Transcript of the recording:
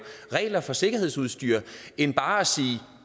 regler for sikkerhedsudstyr end bare at sige